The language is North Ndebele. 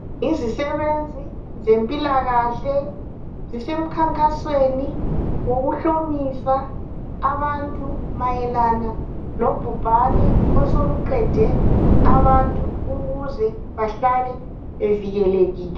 Yizi nosebenzi zempilakahle zisemkhankasweni wokuhlomisa abantu mayelana lobhubhane osoluqede abantu ukuze bahlale bevikelekile